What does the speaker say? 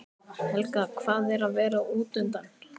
Helga: Hvað er að vera útundan?